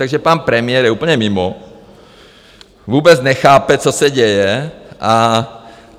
Takže pan premiér je úplně mimo, vůbec nechápe, co se děje.